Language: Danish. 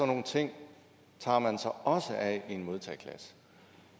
nogle ting tager man sig også af i en modtageklasse